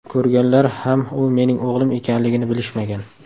Ko‘rganlar ham u mening o‘g‘lim ekanligini bilishmagan.